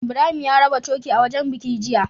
Ibrahim ya raba coke a wajan biki jiya